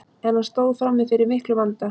en hann stóð frammi fyrir miklum vanda